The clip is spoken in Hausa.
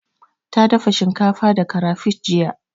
Ta dafa shinkafa da karafish jiya.